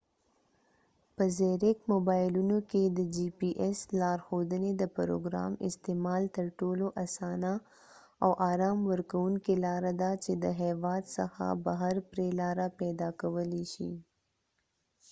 په زیرک موبایلونو کې د جی پي ایس لارښودنې د پروګرام استعمال تر ټولو اسانه او آرام ورکوونکې لاره ده چې د هیواد څخه بهر پرې لاره پیدا کولای شې